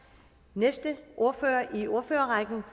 nej